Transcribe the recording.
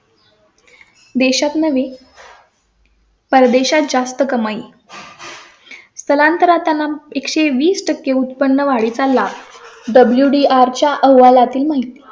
देशात नवी . परदेशात जास्त कमाई स्थलांतरा त्यांना एक सो वीस टक्के उत्पन्न वाढीचा ला WDR च्या अहवाला तील माहिती